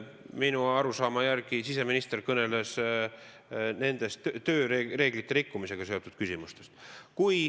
Minu arusaama järgi siseminister kõneles tööreeglite rikkumisega seotud küsimustest.